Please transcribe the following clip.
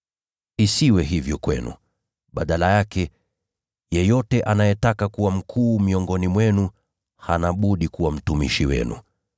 Isiwe hivyo kwenu. Badala yake, yeyote anayetaka kuwa mkuu miongoni mwenu hana budi kuwa mtumishi wenu,